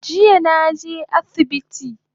Jiya naje asibiti